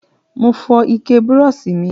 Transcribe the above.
Mo fó ike brush mi